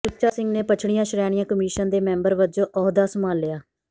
ਸੁੱਚਾ ਸਿੰਘ ਨੇ ਪੱਛੜੀਆਂ ਸ਼੍ਰੇਣੀਆਂ ਕਮਿਸ਼ਨ ਦੇ ਮੈਂਬਰ ਵਜੋਂ ਅਹੁਦਾ ਸੰਭਾਲਿਆ